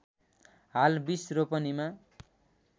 हाल २० रोपनिमा